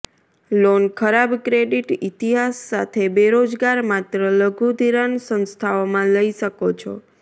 loan ખરાબ credit ઇતિહાસ સાથે બેરોજગાર માત્ર લઘુ ધિરાણ સંસ્થાઓમાં લઈ શકો છો